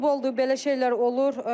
Futboldur, belə şeylər olur.